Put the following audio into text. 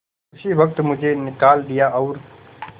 उसी वक्त मुझे निकाल दिया और